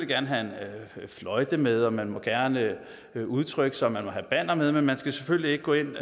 gerne have en fløjte med og man må gerne udtrykke sig man må have bannere med men man skal selvfølgelig ikke gå ind